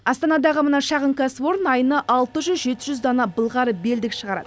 астанадағы мына шағын кәсіпорын айына алты жүз жеті жүз дана былғары белдік шығарады